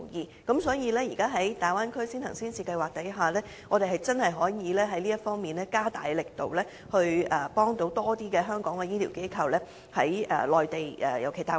所以，政府現時可計劃一下在大灣區先行先試，我們真的可以在這方面加大力度，協助更多香港的醫療機構在內地落戶。